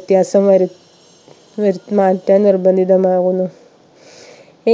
വ്യത്യാസം വരു വരുത്തി മാറ്റാൻ നിർബന്ധിതമാവുന്നു